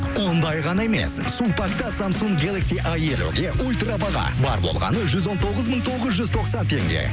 ондай ғана емес сулпакта самсунг гелакси а елуге ультрабаға бар болғаны жүз он тоғыз мың тоғыз жүз тоқсан теңге